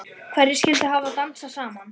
Hverjir skyldu hafa dansað saman?